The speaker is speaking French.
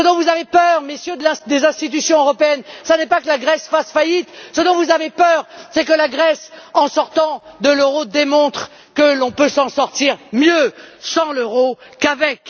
Ce dont vous avez peur, Messieurs des institutions européennes, ce n'est pas que la Grèce fasse faillite, ce dont vous avez peur, c'est que la Grèce, en sortant de l'euro, démontre que l'on peut s'en sortir mieux sans l'euro qu'avec.